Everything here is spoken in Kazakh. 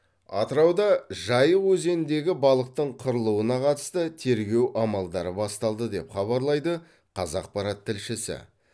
атырауда жайық өзеніндегі балықтың қырылуына қатысты тергеу амалдары басталды деп хабарлайды қазақпарат тілшісі